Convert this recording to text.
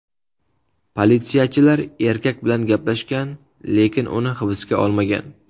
Politsiyachilar erkak bilan gaplashgan, lekin uni hibsga olmagan.